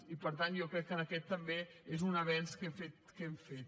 i per tant jo crec que aquest també és un avenç que hem fet